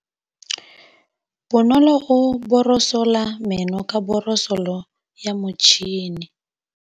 Bonolô o borosola meno ka borosolo ya motšhine.